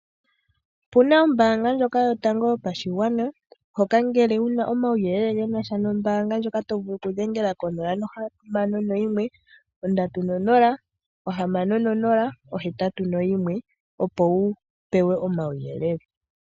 Opuna ombanga ndjoka yotango yopashingwana hoka ngele wuna omawuyelele ngenasha nombanga ndjoka tovulu okudhengela ko 061306081 opo wupewe omawuyelele.